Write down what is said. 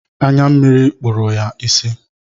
Anya mmiri kpụrụ ya ịsị.